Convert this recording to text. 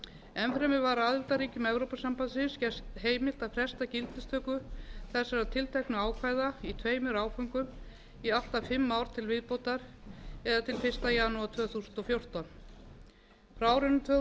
enn fremur var aðildarríkjum evrópusambandsins gert heimilt að fresta gildistöku þessara tilteknu ákvæða í tveimur áföngum í allt að fimm ár til viðbótar eða til fyrsta janúar tvö þúsund og fjórtán frá árinu tvö þúsund og sjö